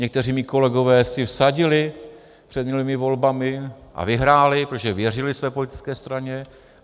Někteří mí kolegové si vsadili před minulými volbami a vyhráli, protože věřili své politické straně.